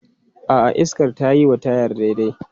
A'a, iskar tayi wa tayar daidai.